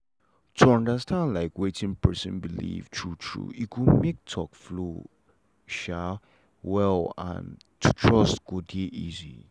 to understand like wetin person believe true true e go make talk flow um well and to trust go dey easy.